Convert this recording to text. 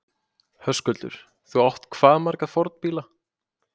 Höskuldur: Þú átt hvað marga fornbíla?